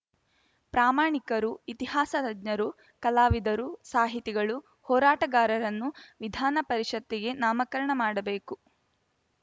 ಪ್ರಾಮಾಣಿಕರು ಇತಿಹಾಸ ತಜ್ಞರು ಕಲಾವಿದರು ಸಾಹಿತಿಗಳು ಹೋರಾಟಗಾರರನ್ನು ವಿಧಾನ ಪರಿಷತ್ತಿಗೆ ನಾಮಕಾರಣ ಮಾಡಬೇಕು